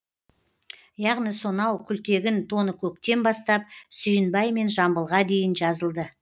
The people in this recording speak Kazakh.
яғни сонау күлтегін тоныкөктен бастап сүйінбай мен жамбылға дейін жазылды